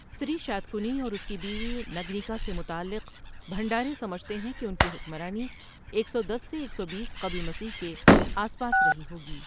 سِری شاتکنی اور اس کی بیوی نگنِکا سے متعلق، بھنڈھارے سمجھتے ہیں کہ ان کی حکمرانی ایک سو دس سے ایک سو بیس قبل مسیح کے آس پاس رہی ہوگی۔